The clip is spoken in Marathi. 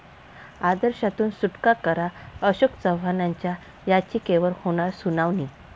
आदर्श'तून सुटका करा, अशोक चव्हाणांच्या याचिकेवर होणार सुनावणी